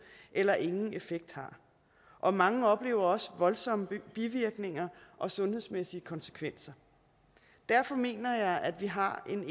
eller ingen effekt har og mange oplever også voldsomme bivirkninger og sundhedsmæssige konsekvenser derfor mener jeg at vi har en